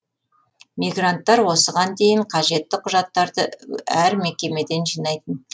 мигранттар осыған дейін қажетті құжаттарды әр мекемеден жинайтын